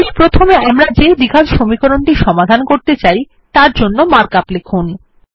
তাহলে প্রথমে আমরা যে দ্বিঘাত সমীকরণটি সমাধান করতে চাই তারজন্য মার্ক আপ লিখুন